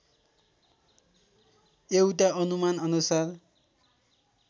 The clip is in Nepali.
एउटा अनुमान अनुसार